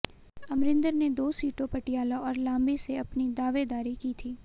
अमरिंदर ने दो सीटों पटियाला और लांबी से अपनी दावेदारी की थी